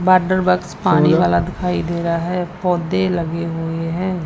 Water box पानी वाला दिखाई दे रा है पौधे लगे हुए हैं।